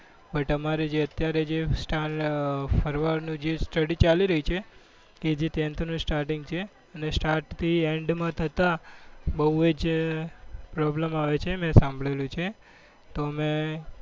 but અમારે જે અત્યારે સ્ટાર્ટ ફરવાનું છે study ચાલુ છે કે જે ટેન્થ નું stating છે અને start થી end માં થતા બહુ જ problem આવે છે મેં સાંભળેલું છે.